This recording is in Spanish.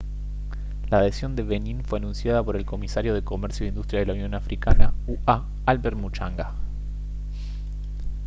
la adhesión de benin fue anunciada por el comisario de comercio e industria de la unión africana ua albert muchanga